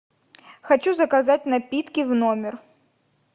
хочу заказать напитки в номер